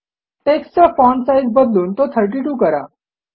टेक्स्टचा font size बदलून तो 32 करा